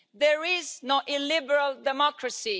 There is no illiberal democracy.